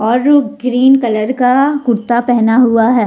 और उ green colour का कुर्ता पहना हुआ है।